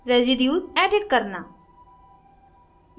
residues edit करना